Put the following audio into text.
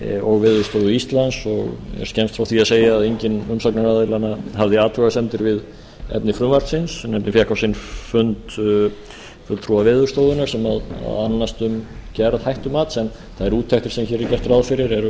og veðurstofu íslands og er skemmst frá því að segja að enginn umsagnaraðilanna hafði athugasemdir við efni frumvarpsins nefndin fékk á sinn fund fulltrúa veðurstofunnar sem annast um gerð hættumats en þær úttektir sem hér er gert ráð fyrir eru